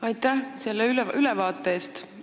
Aitäh selle ülevaate eest!